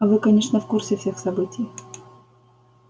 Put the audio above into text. а вы конечно в курсе всех событий